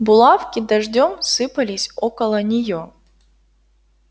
булавки дождём сыпались около неё